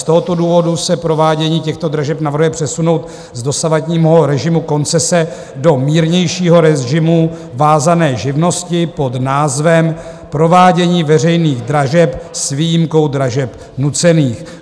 Z tohoto důvodu se provádění těchto dražeb navrhuje přesunout z dosavadního režimu koncese do mírnějšího režimu vázané živnosti pod názvem Provádění veřejných dražeb s výjimkou dražeb nucených.